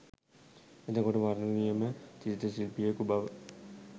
එතකොට වර්ණ නියම චිත්‍ර ශිල්පියෙකු බව